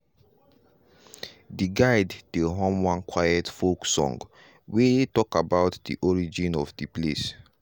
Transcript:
de guide dey hum one quiet folk song wey talk about di origin story of di place.